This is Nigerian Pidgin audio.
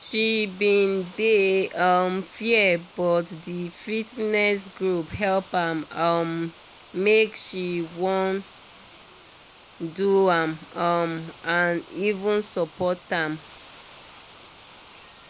she bin dey um fear but di fitness group help am um make she wan do am um and even support am